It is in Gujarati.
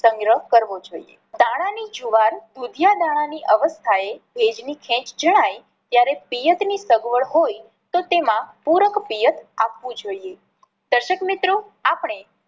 સંગ્રહ કરવો જોઈએ. દાણા ની જુવાર દાણા ની અવસ્થા એ ભેજ ની ખેચ જણાય ત્યારે પિયત ની સગવડ હોય તો તેમાં પૂરક પિયત આપવું જોઈએ. દર્શક મિત્રો આપણે